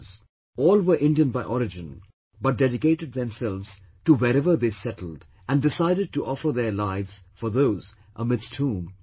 All were Indian by origin but dedicated themselves to wherever they settled and decided to offer their lives for those amidst whom they lived